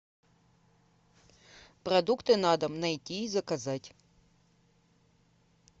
продукты на дом найти и заказать